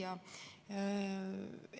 Hea küsija!